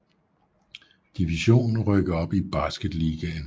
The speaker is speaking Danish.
Division og rykke op i Basketligaen